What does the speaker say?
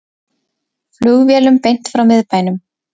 Flugvélum beint frá miðbænum